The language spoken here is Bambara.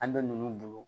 An bɛ ninnu bolo